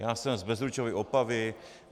Já jsem z Bezručovy Opavy.